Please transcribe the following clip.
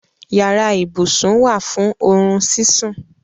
Yàrá-íbusùn wá fún orún síṣún.